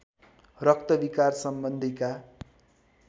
रक्त विकार सम्बन्धीका